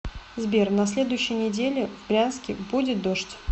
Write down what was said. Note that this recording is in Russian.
сбер на следующей неделе в брянске будет дождь